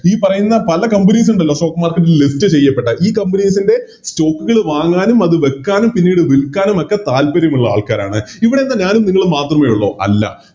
ഈ പറയുന്ന പല Companies ഇണ്ടല്ലോ Stock market ൽ List ചെയ്യപ്പെട്ട ഈ Companies ൻറെ Stock കള് വാങ്ങാനും അത് വെക്കാനും പിന്നീട് വിൽക്കാനും ഒക്കെ താല്പര്യമുള്ള ആൾക്കാരാണ് ഇവിടെയെന്താ ഞാനും നിങ്ങളും മാത്രമേ ഉള്ളോ അല്ല